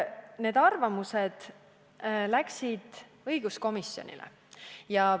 Need arvamused edastati õiguskomisjonile.